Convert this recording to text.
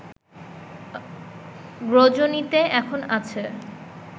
গ্রজনিতে এখন আছে